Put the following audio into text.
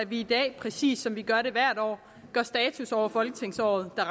vi i dag præcis som vi gør det hvert år gør status over folketingsåret der